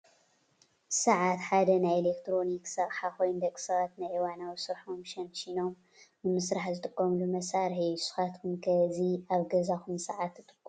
ሰዓት ሓደ ናይ ኤሌክትሮኒክስ አቅሓ ኮይኑ፣ ደቂ ሰባት ናይ እዋናዊ ስርሖም ሸንሺኖም ንምስራሕ ዝጥቀምሉ መሳርሒ እዩ። ንስኻትኩም ከ እዚ ኣብ ገዛኩም ሰዓት ትጥቀሙ ዶ?